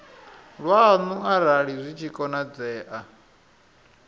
lwanu arali zwi tshi konadzea